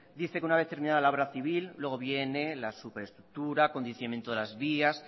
dice que una vez terminada la obra civil luego viene la superestructura condicionamiento de las vías